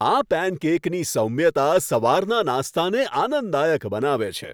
આ પેનકેકની સૌમ્યતા સવારના નાસ્તાને આનંદદાયક બનાવે છે.